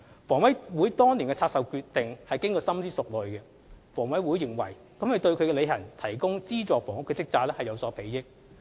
房委會當年的拆售決定是經過深思熟慮的，房委會認為這對其履行提供資助房屋的職責有所裨益。